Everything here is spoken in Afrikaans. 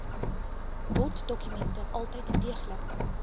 boddokumente altyd deeglik